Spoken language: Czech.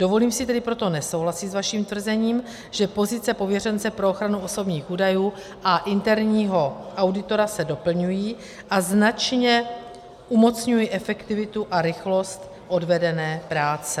Dovolím si tedy proto nesouhlasit s vaším tvrzením, že pozice pověřence pro ochranu osobních údajů a interního auditora se doplňují a značně umocňují efektivitu a rychlost odvedené práce.